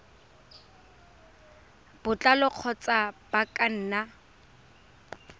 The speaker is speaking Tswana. botlalo kgotsa ba ka nna